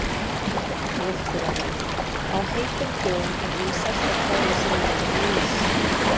Mjólkurafurðir: Á heitum dögum er vinsælt að kæla sig niður með ís.